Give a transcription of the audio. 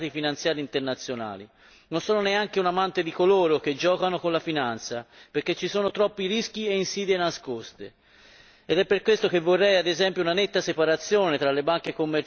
Non sono neanche un amante di coloro che giocano con la finanza perché ci sono troppi rischi e insidie nascoste ed è per questo che vorrei, ad esempio, una netta separazione tra le banche commerciali e le banche di investimenti.